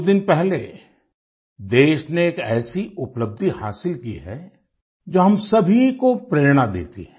कुछ दिन पहले देश ने एक ऐसी उपलब्धि हासिल की है जो हम सभी को प्रेरणा देती है